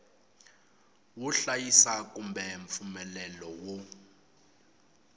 wo hlayisa kumbe mpfumelelo wo